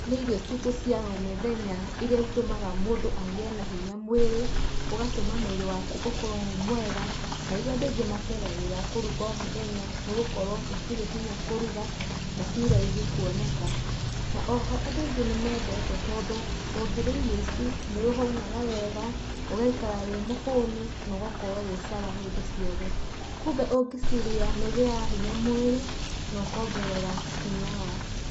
Nĩ irio citũ cia o mũthenya iria itũmaga mũndũ agĩe na hinya mwĩrĩ. ũgatũma mwĩrĩ waku ũkorwo wĩ mwega na iria andũ aingĩ mateng'agĩra kũruga, na ciĩ raithi kuoneka. Na o ho andũ aingĩ nĩmendete tondũ ũngĩrĩa irio ici, nĩ ũhũnaga wega, ũgaikara wĩ mũhũnu na ũgakorwo wĩ sawa hĩndĩ ciothe. Kumbe ũngĩcirĩa, nĩũgĩaga hinya mwĩrĩ na ũkongerera hinya waku.